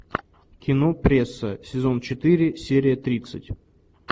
кино пресса сезон четыре серия тридцать